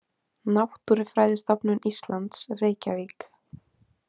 Náttúrufræðistofnun Íslands, Reykjavík.